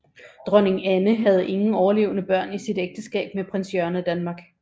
Dronning Anne havde ingen overlevende børn i sit ægteskab med prins Jørgen af Danmark